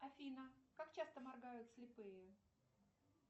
афина как часто моргают слепые